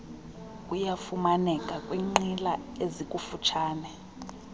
uyafumaneka kwinqila ezikututshane